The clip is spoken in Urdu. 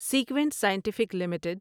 sequent Scientific limited